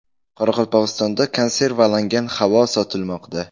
Qoraqalpog‘istonda konservalangan havo sotilmoqda.